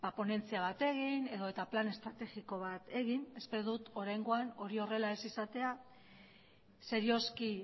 ponentzia bat egin edo eta plan estrategiko bat egin espero dut oraingoan hori horrela ez izatea serioski